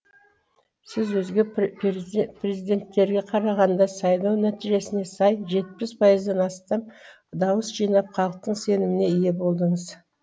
сіз өзге президенттерге қарағанда сайлау нәтижесіне сай жетпіс пайыздан астам дауыс жинап халықтың сеніміне ие болдыңыз